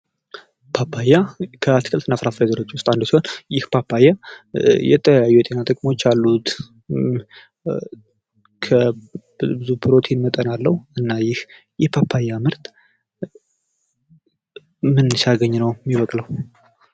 ፓፓያ ከአትክልት እና ፍራፍሬ ዘሮች ዉስጥ አንዱ ሲሆን ይህ ፓፓያ የተለያዩ የጤና ጥቅሞች አሉት። ብዙ ፕሮቲን መጠን አለዉ። እና ይህ ፓፓያ ምርት ምን ሲያገኝ ነዉ የሚበቅለዉ?